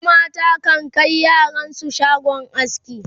wasu mata kan Kai yaran su shagon aski